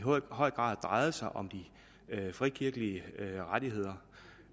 høj grad drejede sig om de frikirkelige rettigheder